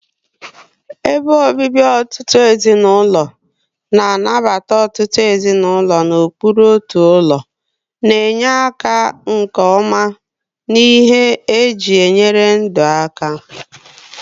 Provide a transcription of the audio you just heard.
Ebe obibi ọtụtụ ezinụlọ, na-anabata ọtụtụ ezinụlọ n'okpuru otu ụlọ, na-enye ala nke ọma na ihe eji enyere ndụ aka.